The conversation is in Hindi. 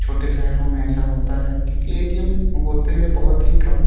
छोटे शहरों में ऐसा होता है क्योंकि ए.टी.एम. होते हैं बहोत ही कम।